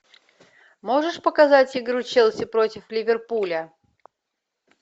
можешь показать игру челси против ливерпуля